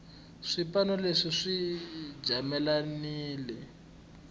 swipano leswi swi jamelanini